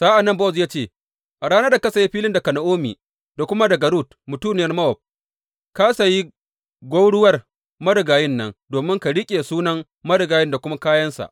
Sa’an nan Bowaz ya ce, A ranar da ka saya filin daga Na’omi da kuma daga Rut mutuniyar Mowab, ka sayi gwauruwar marigayin nan, domin ka riƙe sunan marigayin da kuma kayansa.